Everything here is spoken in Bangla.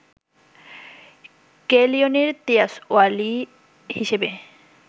কেইলিনের তিয়াসওয়ালি হিসেবে